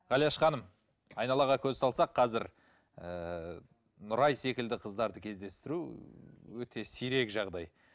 ғалияш ханым айналаға көз салсақ қазір ыыы нұрай секілді қыздарды кездестіру өте сирек жағдай